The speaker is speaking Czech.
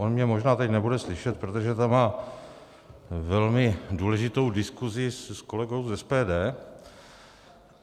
On mě možná teď nebude slyšet, protože tam má velmi důležitou diskuzi s kolegou z SPD.